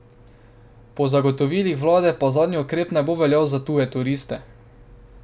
Po zagotovilih vlade pa zadnji ukrep ne bo veljal za tuje turiste.